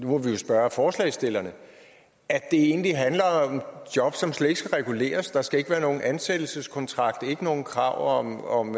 nu må vi jo spørge forslagsstillerne at det egentlig handler om jobs som slet ikke skal reguleres der skal ikke være nogen ansættelseskontrakt der nogen krav om om